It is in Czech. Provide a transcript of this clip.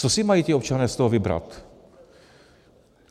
Co si mají ti občané z toho vybrat?